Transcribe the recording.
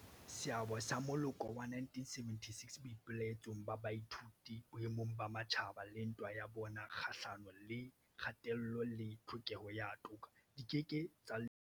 Seabo sa moloko wa 1976 boipelaetsong ba baithuti boemong ba matjhaba le ntwa ya bona kgahlano le kgatello le tlhokeho ya toka di ke ke tsa lebalwa.